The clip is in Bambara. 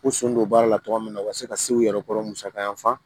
K'u sɔn don baara la togoya min na u ka se ka se u yɛrɛ kɔrɔ musaka